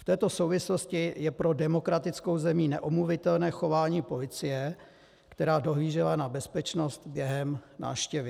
V této souvislosti je pro demokratickou zemí neomluvitelné chování policie, která dohlížela na bezpečnost během návštěvy.